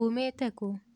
umĩte kú?